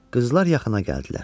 Qızlar yaxına gəldilər.